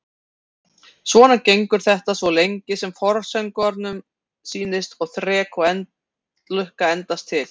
Svona gengur þetta svo lengi sem forsöngvaranum sýnist og þrek og lukka endast til.